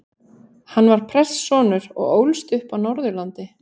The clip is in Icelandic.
Hann var prestssonur og ólst upp á Norðurlandi.